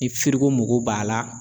Ni firigo mago b'a la